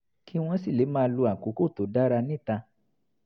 kí wọ́n sì lè máa lo àkókò tó dára níta